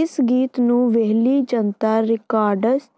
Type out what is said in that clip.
ਇਸ ਗੀਤ ਨੂੰ ਵੇਹਲੀ ਜਨਤਾ ਰਿਕਾਰਡਸ